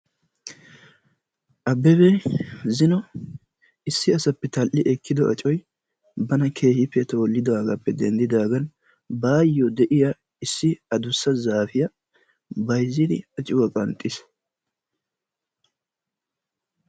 Abbebee zino issi asappe tal"i ekkido acoy bana keehi toollidoogaappe denddidaagan baayyo de'iya issi adussa zaafiya bayzzidi acuwa qanxxiis.